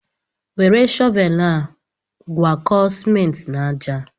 Were shọvel a gwakọọ simenti n'àjà.